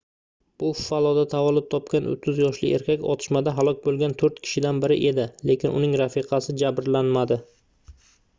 buffaloda tavallud topgan 30 yoshli erkak otishmada halok boʻlgan toʻrt kishidan biri edi lekin uning rafiqasi jabrlanmadi